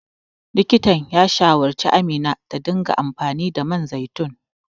Likitan ya shawarci Amina ta dinga amfani da man zaitun.